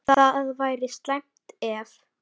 Það væri slæmt, ef